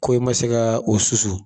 Ko i ma se kaa o susu.